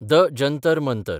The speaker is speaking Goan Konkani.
द जंतर मंतर